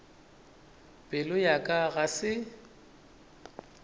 pelo ya ka ga se